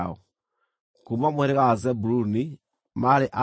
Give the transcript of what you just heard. Kuuma mũhĩrĩga wa Zebuluni maarĩ andũ 57,400.